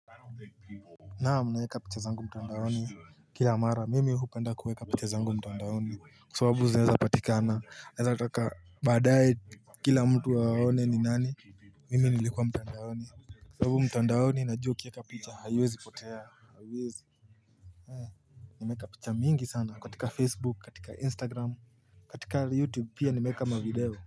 Naam naweka picha zangu mtandaoni kila amara mimi hupenda kuweka picha zangu mtandaoni kwa sababu zinaeza patikana naeza taka baadae kila mtu waone ni nani mimi nilikuwa mtandaoni sababu mtandaoni na jua kieka picha haiwezi potea eh nimeeka picha mingi sana katika facebook katika instagram katika youtube pia nimeeka mavideo.